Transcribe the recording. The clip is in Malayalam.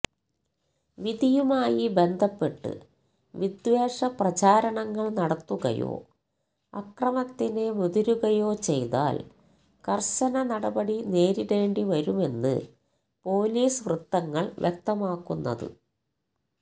വിധിയുമായി ബന്ധപ്പെട്ട് വിദ്വേഷ പ്രചരണങ്ങൾ നടത്തുകയോ അക്രമത്തിന് മുതിരുകയോ ചെയ്താൽ കർശന നടപടി നേരിടേണ്ടി വരുമെന്ന് പൊലീസ് വൃത്തങ്ങൾ വ്യക്തമാക്കുന്നത്